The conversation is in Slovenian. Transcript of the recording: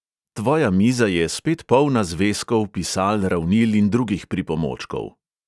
Tvoja miza je spet polna zvezkov, pisal, ravnil in drugih pripomočkov.